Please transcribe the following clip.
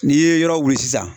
N'i ye yɔrɔ wuli sisan